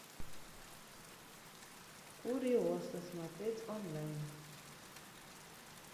куриоса смотреть онлайн